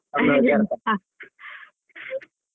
ಹ .